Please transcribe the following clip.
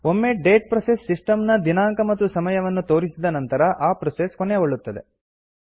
ಒಮ್ಮೆ date process system ನ ದಿನಾಂಕ ಮತ್ತು ಸಮಯವನ್ನು ತೋರಿಸಿದ ನಂತರ ಆ ಪ್ರೋಸೆಸ್ ಕೊನೆಗೊಳ್ಳುತ್ತದೆ